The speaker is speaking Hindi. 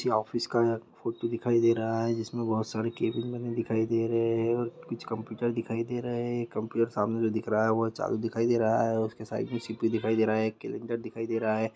ये ऑफिस का फोटो दिखाई दे रहा है जिस मे बहुत सारे कैबिन बने दिखाई दे रहे है और कुछ कंप्युटर दिखाई दे रहे है एक कंप्युटर सामने जो दिख रहा है वह चालु दिखाई दे रहा है और उसके साइड मे सी_पी_यु दिखाई दे रहा है एक कैलंडर दिखाई दे रहा है।